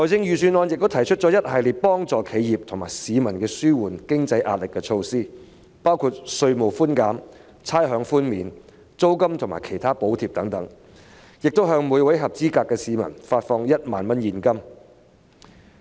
預算案亦提出了一系列為企業及市民紓緩經濟壓力的措施，包括稅務寬減、差餉寬免、租金及其他補貼等，亦會向每名合資格市民發放1萬元現金。